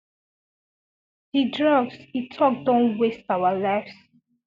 di drugs e tok don wast our lives